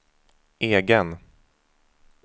egen